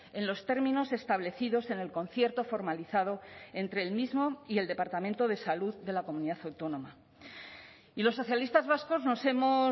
en los términos establecidos en el concierto formalizado entre el mismo y el departamento de salud de la comunidad autónoma y los socialistas vascos nos hemos